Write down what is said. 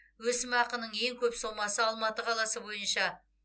өсімақының ең көп сомасы алматы қаласы бойынша